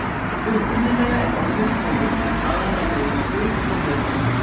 Upprunalega er orðið komið úr arameísku og hebresku.